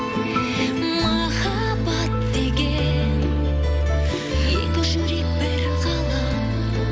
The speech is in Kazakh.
махаббат деген екі жүрек бір ғалам